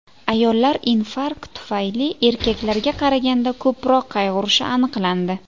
Ayollar infarkt tufayli erkaklarga qaraganda ko‘proq qayg‘urishi aniqlandi .